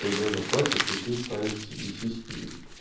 когда заплатят и ты вставишь себе сиськи и вот